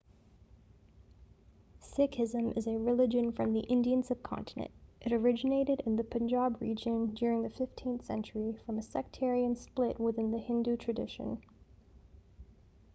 sikhism is a religion from the indian sub-continent it originated in the punjab region during the 15th century from a sectarian split within the hindu tradition